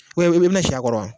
ubiyɛn e bi na si a kɔrɔ a